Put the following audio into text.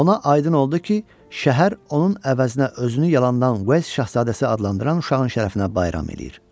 Ona aydın oldu ki, şəhər onun əvəzinə özünü yalandan Wells Şahzadəsi adlandıran uşağın şərəfinə bayram eləyir.